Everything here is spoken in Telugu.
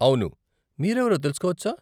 అవును, మీరెవరో తెలుసుకోవచ్చా?